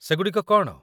ସେଗୁଡ଼ିକ କ'ଣ?